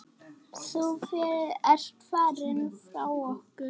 Þú ert farinn frá okkur.